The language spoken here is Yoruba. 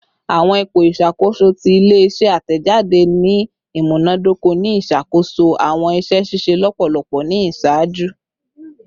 Awọn ipo iṣakoso ti ile-iṣẹ atẹjade ni imunadoko ni iṣakoso awọn iṣẹ ṣiṣe lọpọlọpọ ni iṣaaju